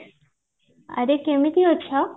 ଆରେ କେମିତି ଅଛ